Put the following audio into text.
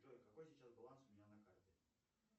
джой какой сейчас баланс у меня на карте